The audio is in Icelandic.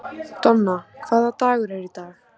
Donna, hvaða dagur er í dag?